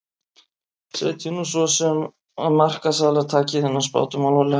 Setjum nú sem svo að markaðsaðilar taki þennan spádóm alvarlega.